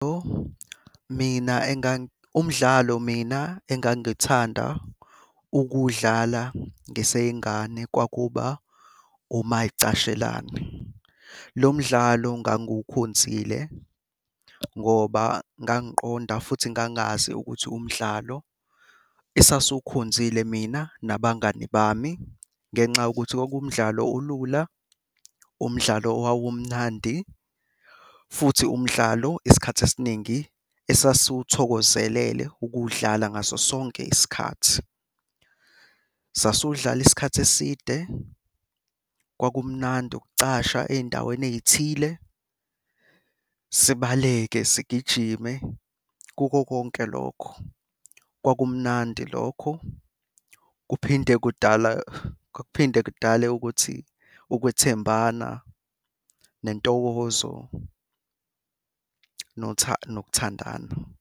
Mina, umdlalo mina engangithanda ukuwudlala ngiseyingane kwakuba umayi.cashelana Lo mdlalo ngangukhonzile ngoba ngangiqonda futhi ngangazi ukuthi umdlalo esasiwukhonzile mina nabangani bami ngenxa yokuthi kwakuwumdlalo olula, umdlalo owawumnandi futhi umdlalo isikhathi esiningi esasiwuthokozelele ukuwudlala ngaso sonke isikhathi. Sasudlala isikhathi eside, kwakumnandi ukucasha ey'ndaweni ey'thile, sibaleke sigijime. Kukho konke lokho, kwakumnandi lokho kuphinde kudala, kuphinde kudale ukuthi ukwethembana nentokozo nokuthandana.